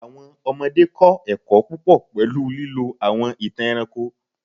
Awọn ọmọde kọ ẹkọ pupọ pẹlu lilo awọn itan ẹranko